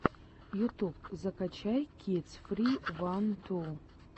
ютюб закачай кидс фри ван ту